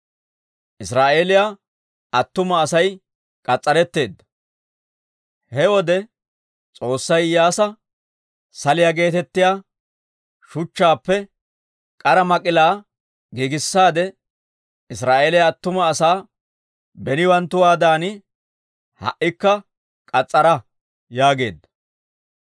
He wode S'oossay Iyyaasa, «Saliyaa geetettiyaa shuchchaappe k'ara mak'ilaa giigissaade, Israa'eeliyaa attuma asaa beniwanttuwaadan ha"ikka k'as's'araa» yaageedda.